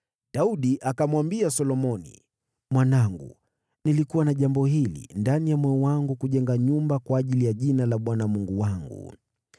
Daudi akamwambia Solomoni: “Mwanangu, nilikuwa na jambo hili ndani ya moyo wangu kujenga nyumba kwa ajili ya Jina la Bwana Mungu wangu.